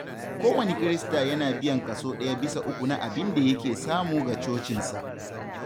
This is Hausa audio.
Kowane Kirista yana biyan kaso ɗaya bisa uku na abin da yake samu ga cocinsa.